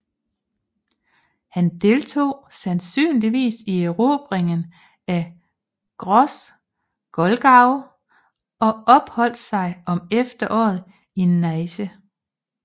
Han deltog sandsynligvis i erobringen af Gross Glogau og opholdt sig om efteråret i Neisse